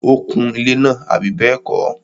ó kun ilẹ́ náà, àbí bẹ́ẹ̀kọ́?